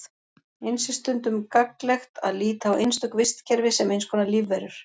Eins er stundum gagnlegt að líta á einstök vistkerfi sem eins konar lífverur.